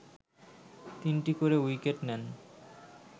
তিনটি করে উইকেট নেন